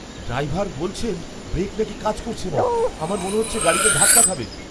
Driver বলছেন brake নাকি কাজ করছে না! আমার মনে হচ্ছে গাড়িটা ধাক্কা খাবে।